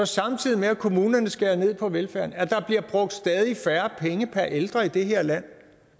samtidig med at kommunerne skærer ned på velfærden at der bliver brugt stadig færre penge per ældre i det her land